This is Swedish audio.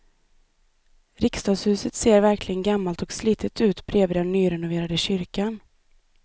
Riksdagshuset ser verkligen gammalt och slitet ut bredvid den nyrenoverade kyrkan.